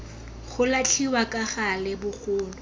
go latlhiwa ka gale bogolo